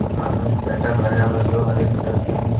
कान में एक शटर लगा हुआ जो हरे कलर के हैं।